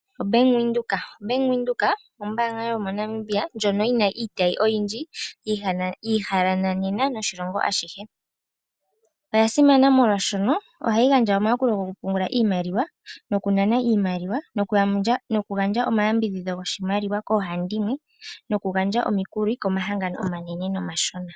Bank Windhoek oyo ombaanga yomoNamibia ndjono yi na iitayi oyindji mbyoka yi ihanena oshilongo ashihe. Oya simana molwaashono ohayi gandja omayakulo gokupungula iimaliwa, nokunana iimaliwa nokugandja omayambidhidho goshimaliwa koohandimwe, nokugandja omikulo komahangano omanene nomashona.